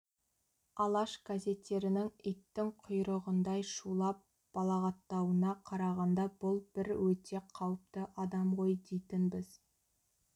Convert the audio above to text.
алаш газеттерінің иттің құйрығындай шулап балағаттауына қарағанда бұл бір өте қауіпті адам ғой дейтінбіз